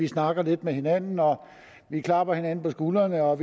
snakker lidt med hinanden og klapper hinanden på skulderen og at